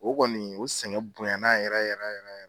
O kɔni o sɛgɛn bonyana yɛrɛ yɛrɛ yɛrɛ yɛrɛ yɛrɛ.